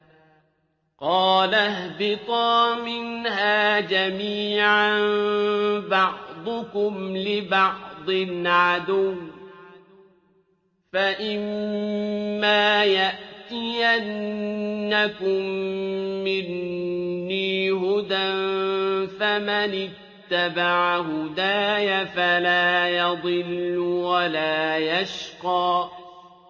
قَالَ اهْبِطَا مِنْهَا جَمِيعًا ۖ بَعْضُكُمْ لِبَعْضٍ عَدُوٌّ ۖ فَإِمَّا يَأْتِيَنَّكُم مِّنِّي هُدًى فَمَنِ اتَّبَعَ هُدَايَ فَلَا يَضِلُّ وَلَا يَشْقَىٰ